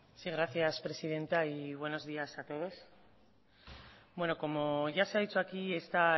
sí gracias presidenta y buenos días a todos como ya se ha dicho aquí esta